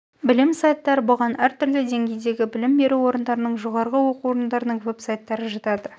білім сайттары бұған әр түрлі деңгейдегі білім беру орындарының жоғарғы оқу орындарының веб-сайттары жатады